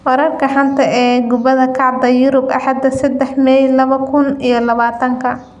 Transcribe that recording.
Wararka xanta ah ee kubada cagta Yurub Axada sedexa mai laba kun iyo labatanka: Pogba, De Bruyne, Sanchez, Coutinho, Jovic, Suarez, Lingard